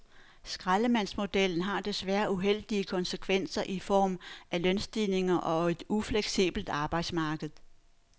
Skraldemandsmodellen har desværre uheldige konsekvenser i form af lønstigninger og et ufleksibelt arbejdsmarked.